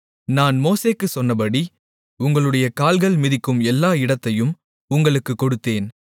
நான் மோசேக்குச் சொன்னபடி உங்களுடைய கால்கள் மிதிக்கும் எல்லா இடத்தையும் உங்களுக்குக் கொடுத்தேன்